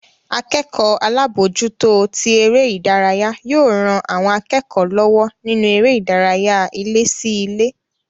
Akẹ́kọ̀ọ́ alábòójútó tí eré ìdárayá yóò ran àwọn akẹ́kọ̀ọ́ lọ́wọ́ nínú eré ìdárayá ilé sí ilé